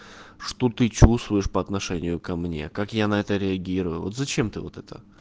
что ты чувствуешь по отношению ко мне как я на это реагирую вот зачем ты вот это